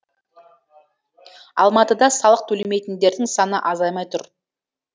алматыда салық төлемейтіндердің саны азаймай тұр